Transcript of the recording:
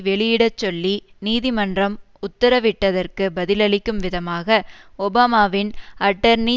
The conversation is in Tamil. வெளியிடச்சொல்லி நீதிமன்றம் உத்தரவிட்டதற்கு பதிலளிக்கும் விதமாக ஒபாமாவின் அட்டர்னி